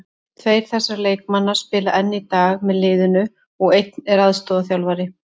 Tveir þessara leikmanna spila enn í dag með liðinu og einn er aðstoðarþjálfari.